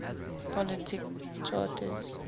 political charters